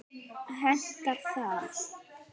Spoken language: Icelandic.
Hentar það?